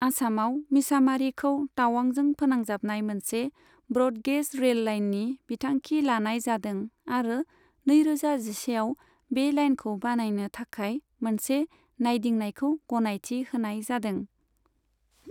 आसामआव मिसामारिखौ तावांजों फोनांजाबनाय मोनसे ब्रड गेज रेल लाइननि बिथांखि लानाय जादों आरो नैरोजा जिसेआव बे लाइनखौ बानायनो थाखाय मोनसे नायदिंनायखौ गनायथि होनाय जादोंमोन।